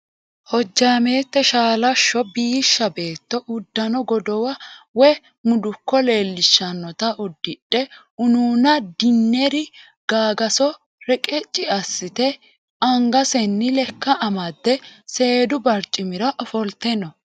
Hojjaameette shaalashsho biishsha beetto uddano godowa woyi mudukko leellishshannota uddidhe unuuna dinner gagaso reqecxi assite angasenni lekka amadde seedu barcimira ofolte no.